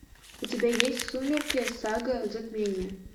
у тебя есть сумерки сага затмение